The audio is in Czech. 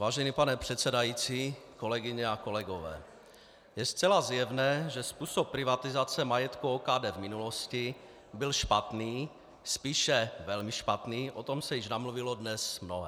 Vážený pane předsedající, kolegyně a kolegové, je zcela zjevné, že způsob privatizace majetku OKD v minulosti byl špatný, spíše velmi špatný, o tom se již namluvilo dnes mnohé.